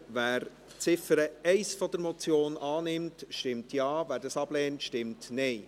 Wer die Ziffer 1 der Motion annimmt, stimmt Ja, wer dies ablehnt, stimmt Nein.